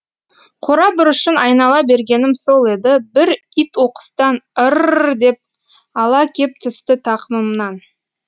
қора бұрышын айнала бергенім сол еді бір ит оқыстан ыр р р деп ала кеп түсті тақымымнан